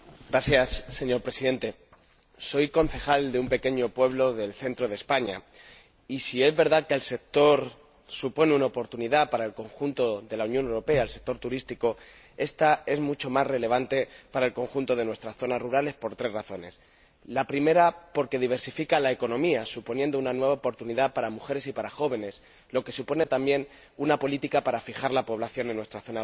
Señor Presidente, soy concejal de un pequeño pueblo del centro de España y, si es verdad que el sector turístico supone una oportunidad para el conjunto de la Unión Europea, ésta es mucho más relevante para el conjunto de nuestras zonas rurales por tres razones la primera, porque diversifica la economía, suponiendo una nueva oportunidad para las mujeres y los jóvenes, lo que supone también una política para fijar la población en nuestras zonas rurales